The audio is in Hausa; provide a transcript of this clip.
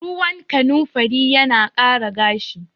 Ruwan kanimfari yana ƙara gashi